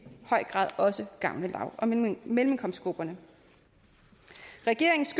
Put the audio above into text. høj grad også gavne lav og mellemindkomstgrupperne regeringens